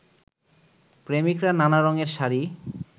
প্রেমিকরা নানা রঙের শাড়ি